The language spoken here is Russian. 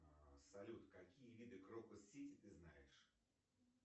а салют какие виды крокус сити ты знаешь